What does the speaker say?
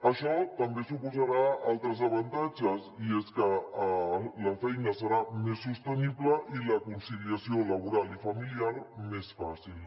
això també suposarà altres avantatges i és que la feina serà més sostenible i la conciliació laboral i familiar més fàcil